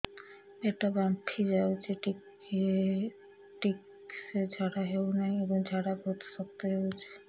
ପେଟ ଫାମ୍ପି ଯାଉଛି ଠିକ ସେ ଝାଡା ହେଉନାହିଁ ଏବଂ ଝାଡା ବହୁତ ଶକ୍ତ ହେଉଛି